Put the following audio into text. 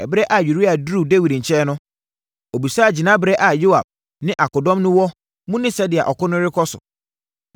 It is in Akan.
Ɛberɛ a Uria duruu Dawid nkyɛn no, ɔbisaa gyinaberɛ a Yoab ne akodɔm no wɔ mu ne sɛdeɛ ɔko no rekɔ so.